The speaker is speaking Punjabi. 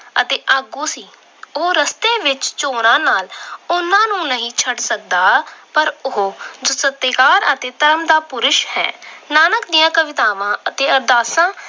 ਅਤੇ ਆਗੂ ਸੀ। ਉਹ ਰਸਤੇ ਵਿੱਚ ਨਾਲ ਉਹਨਾਂ ਨੂੰ ਨਹੀਂ ਛੱਡ ਸਕਦਾ ਪਰ ਉਹ ਸਤਿਕਾਰ ਅਤੇ ਧਰਮ ਦਾ ਪੁਰਸ਼ ਹੈ। ਨਾਨਕ ਦੀਆਂ ਕਵਿਤਾਵਾਂ ਅਤੇ ਅਰਦਾਸਾਂ